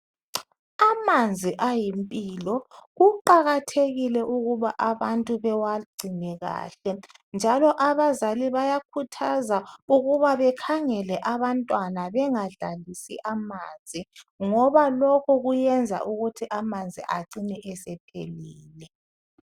Amanzi ayimpilo kuqakathekile ukubana abantu bewangcine kahle njalo abazali bayakhuthwa ukuthi bekhangele abanthwana bengadlalisi amanzi ngoba lokhu kuyayenza ukuthi amanzi acine esephelile